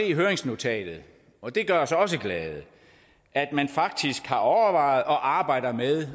i høringsnotatet og det gør os også glade at man faktisk har overvejet og arbejder med